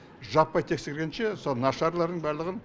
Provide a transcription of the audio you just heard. жаппай тексергенше мысалы нашарларын барлығын